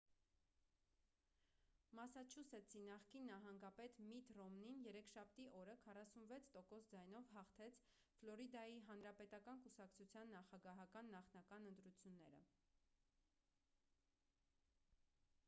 մասաչուսեթսի նախկին նահանգապետ միթ ռոմնին երեքշաբթի օրը 46 տոկոս ձայնով հաղթեց ֆլորիդայի հանրապետական կուսակցության նախագահական նախնական ընտրությունները